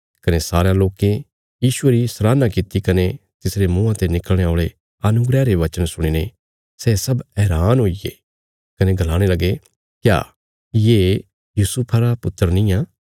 कने सारयां लोकें यीशुये री सराहना कित्ती कने तिसरे मुँआं ते निकल़णे औल़े अनुग्रह रे वचन सुणीने सै सब हैरान हुईगे कने गलाणे लगे क्या ये यूसुफा रा पुत्र निआं